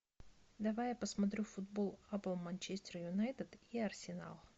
давай я посмотрю футбол апл манчестер юнайтед и арсенал